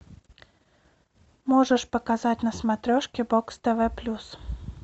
можешь показать на смотрешке бокс тв плюс